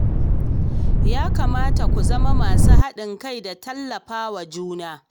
Ya kamata ku zama masu haɗin kai da tallafa wa juna.